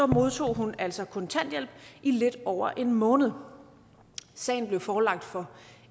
modtog hun altså kontanthjælp i lidt over en måned sagen blev forelagt for